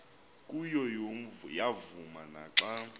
kuyo yavuma naxa